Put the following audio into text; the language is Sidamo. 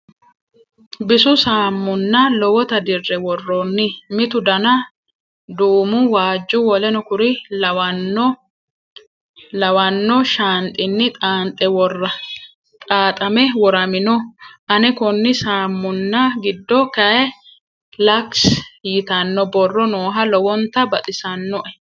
Bisu saamunna lowota dirre woroyi. Mitu dana duumu, waajju, w.k.l lawanno shaanxinni xaaxame woramino ane konni saammunna giddo kayii Lux yitanno borro nooha lowonta baxisannoe.